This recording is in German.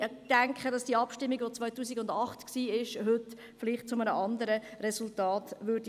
Ich denke, dass die Abstimmung von 2008 heute zu einem anderen Resultat führen würde.